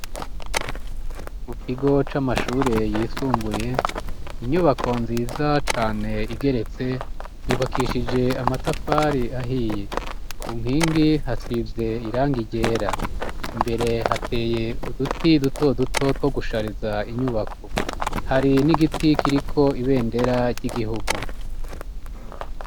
Mu kigo c'amashure yisumbuye, inyubako nziza cane igeretse yubakishije amatafari ahiye, ku nkingi hasize irangi ryera, imbere hateye uduti duto duto two gushariza inyubako, hari n'igiti kiriko ibendera ry'igihugu.